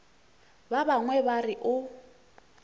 ba bangwe ba re o